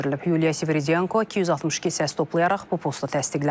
Yuliya Sviridenko 262 səs toplayaraq bu posta təsdiqlənib.